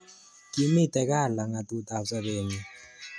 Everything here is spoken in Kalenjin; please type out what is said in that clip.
Kimite ka langatut ab sabet nyin